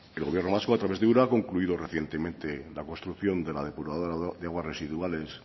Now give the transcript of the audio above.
el gobierno vasco a través de ura ha concluido recientemente la construcción de la depuradora de aguas residuales